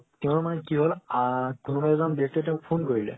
তেও মানে কি হল আ কোনৱা এজন ব্যাক্তিয়ে তেওক phone কৰিলে